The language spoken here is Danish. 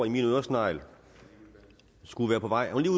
i min øresnegl skulle være på vej hun er